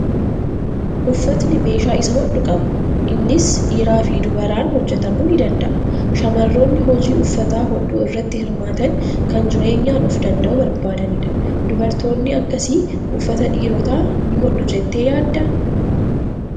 Uffatni meeshaa isa hodhu qaba. Innis dhiiraa fi dubaraan hojjetamuu ni danda'a. Shamarroonni hojii uffata hodhuu irratti hirmaatan kan jireenyaan of danda'uu barbaadanidha. Dubartoonni akkasii uffata dhiirotaa ni hodhu jettee yaaddaa?